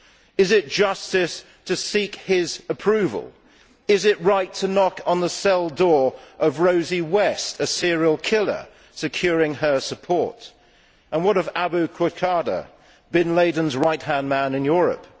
Is it justice to seek his approval? Is it right to knock on the cell door of Rose West, a serial killer, securing her support? And what of Abu Qatada, Bin Laden's right hand man in Europe?